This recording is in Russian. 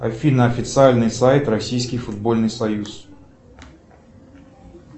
афина официальный сайт российский футбольный союз